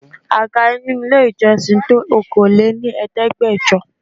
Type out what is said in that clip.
Àga inú ilé ìjọsìn tó Okòó lé ní Ẹ̀ẹ́dẹ́gbẹjọ.